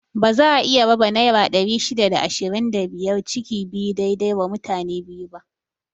Baza a iya raba naira ɗari shida da ishirin da biyar ciki biyu dai dai wa mutane biyu ba